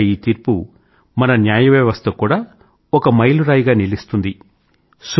ఒక రకంగా ఈ తీర్పు మన న్యాయ వ్యవస్థకు కూడా ఒక మైలు రాయిగా నిలుస్తుంది